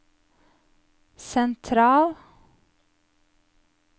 sentral